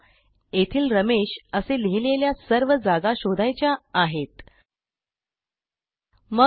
उदाहरणार्थ आपल्याला आपल्या डॉक्युमेंटमधील असे प्रत्येक स्थान शोधायचे आहे येथे रमेश असे लिहिले आहे